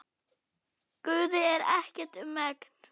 Guði er ekkert um megn.